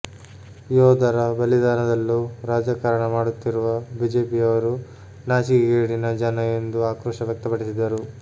ಯೋಧರ ಬಲಿದಾನದಲ್ಲೂ ರಾಜಕಾರಣ ಮಾಡುತ್ತಿರುವ ಬಿಜೆಪಿಯವರು ನಾಜಿಕೆಗೇಡಿನ ಜನ ಎಂದು ಆಕ್ರೋಶ ವ್ಯಕ್ತಪಡಿಸಿದರು